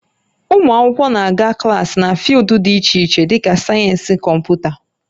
Ụmụ akwụkwọ na-aga klaasị na fịụldụ dị iche iche dịka sayensị Kọmputa